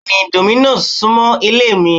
Bẹ́ẹ̀ni Domino's súmọ́ ilé mi